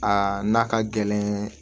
Aa n'a ka gɛlɛn